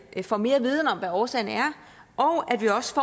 får mere viden om hvad årsagen er og at vi også